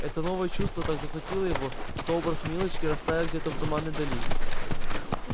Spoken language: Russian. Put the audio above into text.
это новое чувство так захватило его что образ милочки растаял где-то в туманной дали